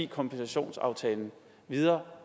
kompensationsaftalen videre